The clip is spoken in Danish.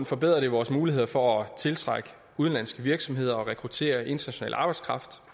forbedrer vores muligheder for at tiltrække udenlandske virksomheder og rekruttere international arbejdskraft